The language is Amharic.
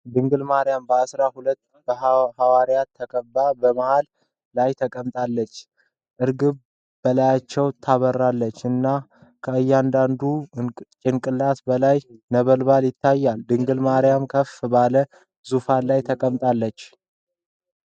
ድንግል ማርያም በአሥራ ሁለቱ ሐዋርያት ተከባ በመሃል ላይ ተቀምጣለች። እርግብ በላያቸው ታበራለች እና ከእያንዳንዱ ጭንቅላት በላይ ነበልባል ይታያል። ድንግል ማርያምም ከፍ ባለ ዙፋን ላይ ተቀምጣለች።